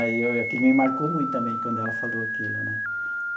Aí, aquilo me marcou muito também, quando ela falou aquilo né.